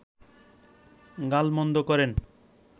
গালমন্দ করেন